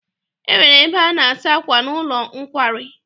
E nwere ebe a na-asa akwà n'ụlọ nkwari.